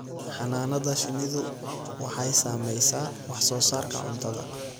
Xannaanada shinnidu waxay saamaysaa wax soo saarka cuntada.